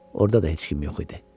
Orda da heç kim yox idi.